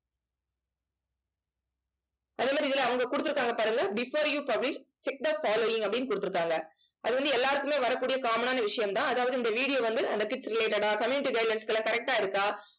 அதே மாரி இதுல அவங்க குடுத்திருக்காங்க பாருங்க before you publish check the following அப்படின்னு கொடுத்திருக்காங்க அது வந்து எல்லாருக்குமே வரக்கூடிய common ஆன விஷயம்தான். அதாவது இந்த video வந்து அந்த tips related ஆ community guidelines எல்லாம் correct ஆ இருக்கா